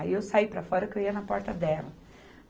Aí eu saí para fora, que eu ia na porta dela.